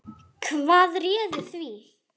Hvað réði því?